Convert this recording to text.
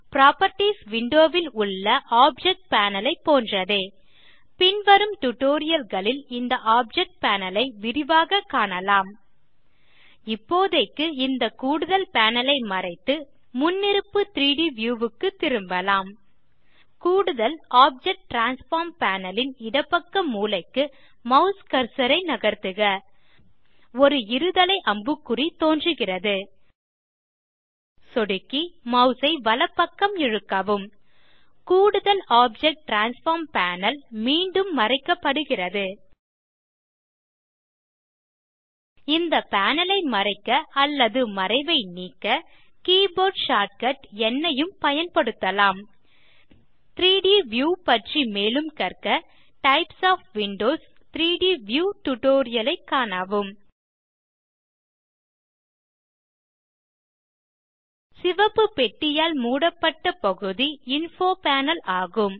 properties window ல் உள்ள object panel ஐ போன்றதே பின்வரும் டியூட்டோரியல் களில் இந்த ஆப்ஜெக்ட் பேனல் ஐ விரிவாக காணலாம் இப்போதைக்கு இந்த கூடுதல் பேனல் ஐ மறைத்து முன்னிருப்பு 3ட் வியூ க்குத் திரும்பலாம் கூடுதல் ஆப்ஜெக்ட் டிரான்ஸ்ஃபார்ம் பேனல் ன் இடப்பக்க மூலைக்கு மாஸ் கர்சர் ஐ நகர்த்துக ஒரு இருதலை அம்புக்குறி தோன்றுகிறது சொடுக்கி மாஸ் ஐ வலப்பக்கம் இழுக்கவும் கூடுதல் ஆப்ஜெக்ட் டிரான்ஸ்ஃபார்ம் பேனல் மீண்டும் மறைக்கப்படுகிறது இந்த பேனல் ஐ மறைக்க அல்லது மறைவை நீக்க கீபோர்ட் ஷார்ட்கட் ந் ஐயும் பயன்படுத்தலாம் 3ட் வியூ பற்றி மேலும் கற்க டைப்ஸ் ஒஃப் விண்டோஸ் 3ட் வியூ டியூட்டோரியல் ஐ காணவும் சிவப்பு பெட்டியால் மூடப்பட்ட பகுதி இன்ஃபோ பேனல் ஆகும்